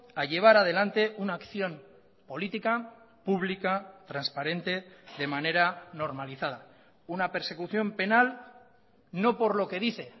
a llevar adelante una acción política pública transparente de manera normalizada una persecución penal no por lo que dice